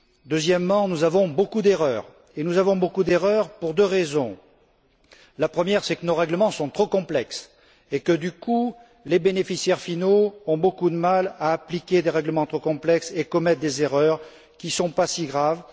Deuxièmement, nous avons beaucoup d'erreurs, et nous avons beaucoup d'erreurs pour deux raisons la première, c'est que nos règlements sont trop complexes et que, du coup, les bénéficiaires finaux ont beaucoup de mal à appliquer des règlements trop complexes et commettent des erreurs qui ne sont pas si graves.